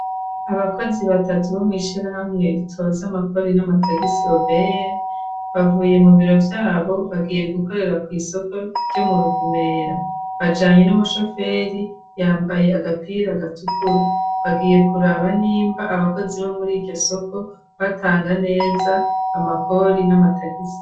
Abakozi batatu bo mwishira hamwe ritoza amakori n'amatagisi obr bavuye mu biro vyabo. Bagiye gukorera ku isoko ryo mu ruvumera bajanye n'umushoferi yambaye agapira gatukura bagiye kuraba nimba abakozi bo muri iyo soko batanga neza amakori n'amatagisi.